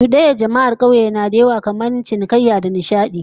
Cudanyar jama'ar kauye na da yawa kamar cinikayya da nishadi